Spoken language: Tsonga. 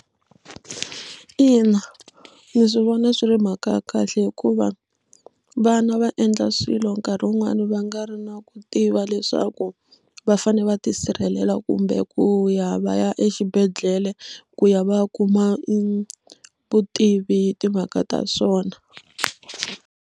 Ina, ndzi swi vona swi ri mhaka ya kahle hikuva vana va endla swilo nkarhi wun'wani va nga ri na ku tiva leswaku va fanele va tisirhelela kumbe ku ya va ya exibedhlele ku ya va ya kuma vutivi hi timhaka ta swona.